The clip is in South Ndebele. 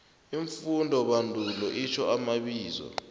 iimfundobandulo itjho amabizo